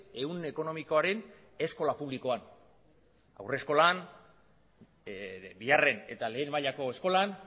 ehun ekonomikoaren eskola publikoan haurreskolan bigarren eta lehen mailako eskolan